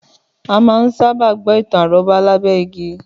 Àmà ń sà bà gbọ̀ itàn àròbà là gbẹ ìgí